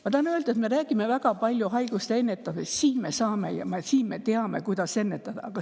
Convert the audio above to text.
Ma tahan öelda, et me räägime väga palju haiguste ennetamisest – siin me saame, siin me teame, kuidas ennetada.